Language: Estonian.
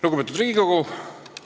Lugupeetud Riigikogu!